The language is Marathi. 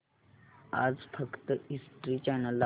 आज फक्त हिस्ट्री चॅनल दाखव